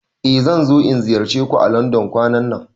Eh zan zo in ziyarce ku à Landon kwanan nan.